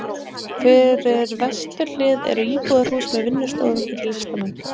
Fyrir vesturhlið eru íbúðarhús með vinnustofum fyrir listamenn.